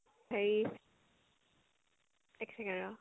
হেৰি এক second ৰ